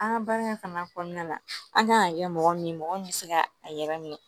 An ka baara in fana kɔnɔna na an kan ka kɛ mɔgɔ min ye mɔgɔ min bɛ se ka a yɛrɛ minɛ